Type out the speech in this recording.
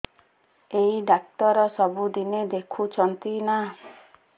ଏଇ ଡ଼ାକ୍ତର ସବୁଦିନେ ଦେଖୁଛନ୍ତି ନା